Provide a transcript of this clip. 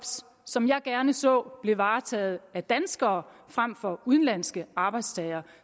som jeg gerne så blev varetaget af danskere frem for udenlandske arbejdstagere